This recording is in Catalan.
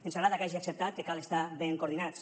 ens agrada que hagi acceptat que cal estar ben coordinats